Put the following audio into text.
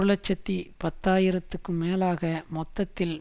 இலட்சத்தி பத்து ஆயிரத்துக்கும் மேலாக மொத்தத்தில்